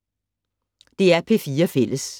DR P4 Fælles